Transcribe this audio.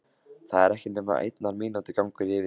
Það er ekki nema einnar mínútu gangur yfir í